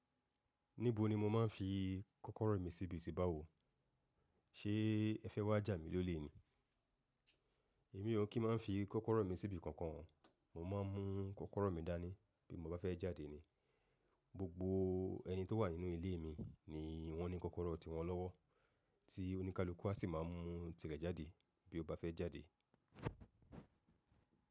Níbo ni mo máa ń fi kọ́kọ́rọ́ mi síbi tí bá wò. Ṣé ẹ fẹ́ wá jà mí lólè ni? Èmi ò kí máa ń fi kọ́kọ́rọ́ mi síbi kankan. Mo máa ń mú kọ́kọ́rọ́ mi dání bí mo bá fẹ́ jáde ni. Gbogbo ẹni tó wà nínú ilé mi ni wọ́n ní kọ́kọ́rọ́ ọ ti wọn lọ́wọ́ tí oníkálukú a sì máa mú tirẹ̀ jáde bí o bá fẹ́ jáde.